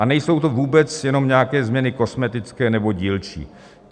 A nejsou to vůbec jenom nějaké změny kosmetické nebo dílčí.